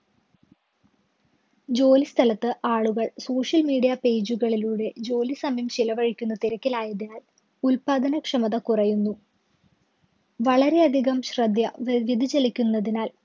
ജോലി സ്ഥലത്ത് ആളുകള്‍ social media page കളിലൂടെ ജോലി സമയം ചെലവഴിക്കുന്ന തിരക്കിലായതിനാല്‍ ഉത്പാദനക്ഷമത കുറയുന്നു. വളരെയധികം ശ്രദ്ധ വ്യവ്യതിച്ചലിക്കുന്നതിനാല്‍